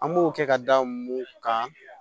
An b'o kɛ ka da mun kan